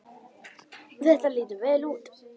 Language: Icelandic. Þetta lítur vel út.